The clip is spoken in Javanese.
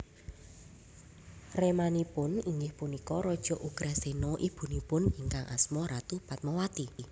Ramanipun inggih punika Raja Ugrasena Ibunipun ingkang asma Ratu Padmawati